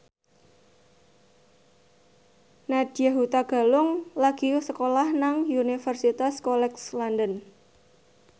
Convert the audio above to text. Nadya Hutagalung lagi sekolah nang Universitas College London